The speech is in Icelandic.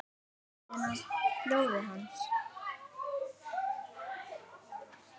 Lyktina af blóði hans.